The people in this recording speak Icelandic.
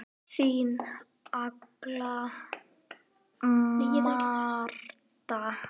Þín Agla Marta.